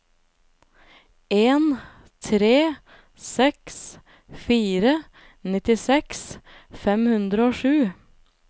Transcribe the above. en tre seks fire nittiseks fem hundre og sju